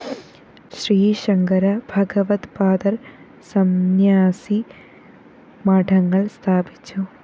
ശ്രീശങ്കര ഭഗവദ്പാദര്‍ സംന്യാസി മഠങ്ങള്‍ സ്ഥാപിച്ചു